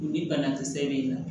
Ni banakisɛ bɛ yen nɔ